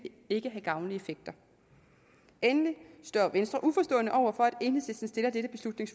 ikke have gavnlige effekter endelig står venstre uforstående over for